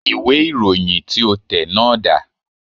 Ìwé ìròyìn tí o tẹ̀ náà dà